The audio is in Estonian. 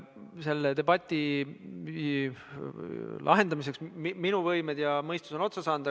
Selle debati lahendamiseks on minu võimed ja mõistus otsa saanud.